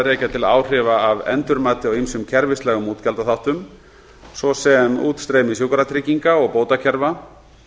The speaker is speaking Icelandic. rekja til áhrifa af endurmati á ýmsum kerfislægum útgjaldaþáttum svo sem útstreymi sjúkratrygginga og bótakerfa